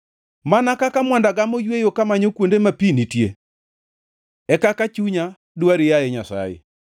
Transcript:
Mana kaka mwanda gamo yweyo kamanyo kuonde ma pi nitie, e kaka chunya dwari, yaye Nyasaye.